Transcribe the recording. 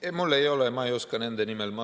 Ma ei oska nende nimel.